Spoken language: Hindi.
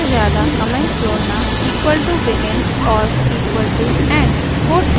एक से ज्यादा कमेंट जोड़ना =begin और =end